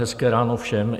Hezké ráno všem.